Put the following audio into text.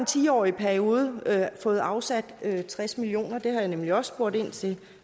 ti årig periode fået afsat tres million kroner det har jeg nemlig også spurgt ind til